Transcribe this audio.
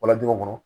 Walajigi kɔnɔ